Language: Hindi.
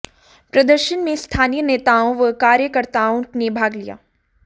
प्रदर्शन में स्थानीय नेताओं व कार्यकर्ताओं ने भाग लिया